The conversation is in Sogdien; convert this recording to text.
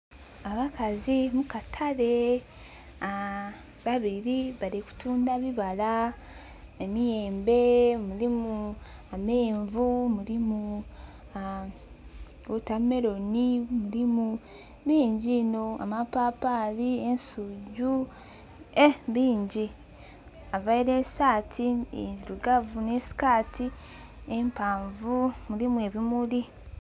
Obakazi mu katale babiri bali kutunda bibala, emiyembe, mulimu amenvu, mulimu wotameroni, mulimu bingi inho, amapapaali, availe saati endirugavu ne sikaati empaavu erimu ebimuli.